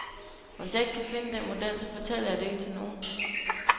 Og hvis jeg ikke kan finde den model, så fortæller jeg det ikke til nogen.